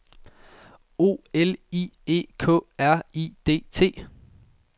O L I E K R I D T